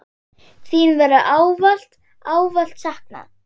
Þín verður ávallt, ávallt saknað.